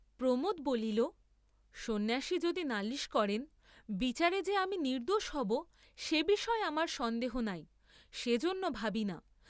প্রমােদ বলি, সন্ন্যাসী যদি নালিস করেন বিচারে যে আমি নির্দ্দোষ হব সে বিষয়ে আমার সন্দেহ নাই, সেজন্য ভাবি না।